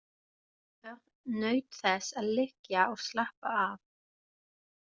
Örn naut þess að liggja og slappa af.